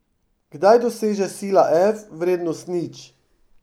Kdaj doseže sila F vrednost nič?